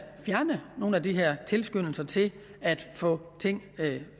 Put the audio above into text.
fjerne nogle af de her tilskyndelser til at få ting